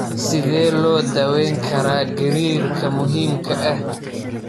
Sidee loo daweyn karaa gariirka muhiimka ah?